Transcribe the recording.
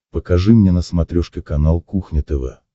покажи мне на смотрешке канал кухня тв